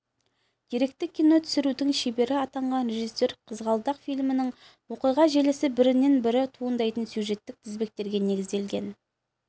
деректі кино түсірудің шебері атанған режиссер қызғалдақ фильмінің оқиға желісі бірінен бірі туындайтын сюжеттік тізбектерге негізделген